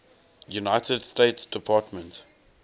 united states department